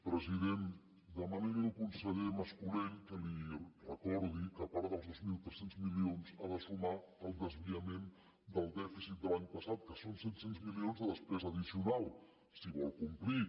president demani li al conseller mas colell que li recordi que a part dels dos mil tres cents milions ha de sumar el desviament del dèficit de l’any passat que són set cents milions de despesa addicional si vol complir